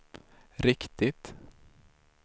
riktigt